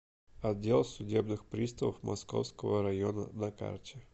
отдел судебных приставов московского района на карте